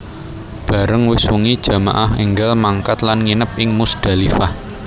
Bareng wis wengi jamaah énggal mangkat lan nginep ing Muzdalifah